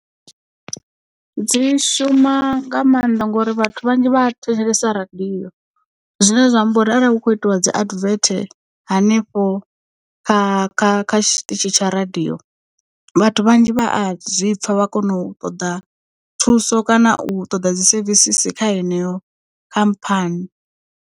Dzi shuma nga maanḓa ngori vhathu vhanzhi vha thetshelesa radio zwine zwa amba uri arali hu kho itiwa dzi advert hanefho kha kha kha tshiṱitshi tsha radio vhathu vhanzhi vha a zwipfa vha kona u ṱoḓa thuso kana u ṱoḓa dzi sevisisi kha heneyo khamphani.